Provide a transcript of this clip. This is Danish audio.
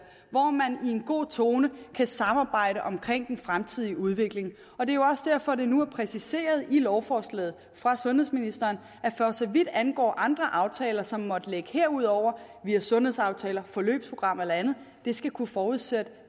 hvor man i en god tone kan samarbejde om den fremtidige udvikling og det er jo også derfor at det nu er præciseret i lovforslaget fra sundhedsministeren at for så vidt angår andre aftaler som måtte ligge herudover via sundhedsaftaler forløbsprogrammer eller andet skal det kunne forudsætte